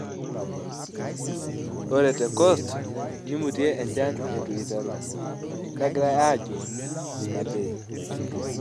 Ore te Coast neimutie enchan eitu iteru, negirai aajurr ina bae.